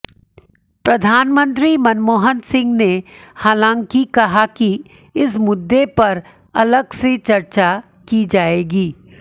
प्रधानमंत्री मनमोहन सिंह ने हालांकि कहा कि इस मुद्दे पर अलग से चर्चा की जाएगी